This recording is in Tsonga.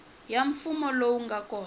ya mfumo lowu nga kona